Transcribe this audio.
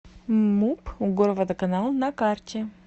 муп горводоканал на карте